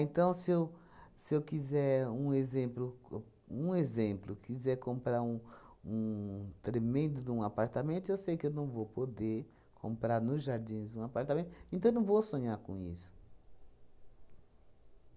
se eu se eu quiser um exemplo co um exemplo, quiser comprar um um tremendo de um apartamento, eu sei que eu não vou poder comprar nos Jardins um apartamento, então eu não vou sonhar com isso.